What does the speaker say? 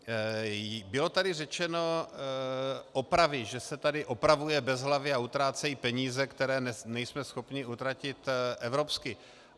Bylo tady řečeno opravy, že se tady opravuje bezhlavě a utrácejí peníze, které nejsme schopni utratit evropsky.